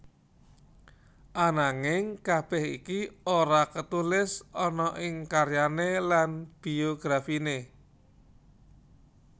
Ananging kabeh iki ora ketulis ana ing karyane lan biografine